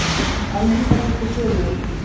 Að minnsta kosti sumum.